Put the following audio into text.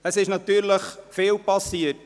Seit der Märzsession ist vieles passiert.